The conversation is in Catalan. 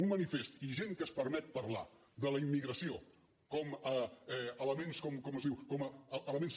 un manifest i gent que es permet parlar de la immigració com elements com es diu com elements